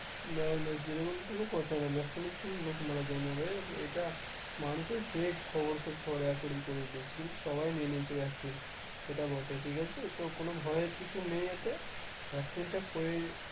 না না সেরকম কোন কথা না vaccination এ লোক মারা যায় না রে এইটা মানুষে fake খবর সব ছড়াছড়ি করেছে কিন্তু সবাই নিয়ে নিয়েছে vaccine সেটা বটে ঠিক আছে তো কোন ভয়ের কিছু নেই এতে vaccine টা